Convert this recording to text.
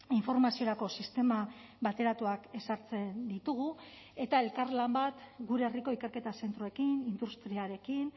informaziorako sistema bateratuak ezartzen ditugu eta elkarlan bat gure herriko ikerketa zentroekin industriarekin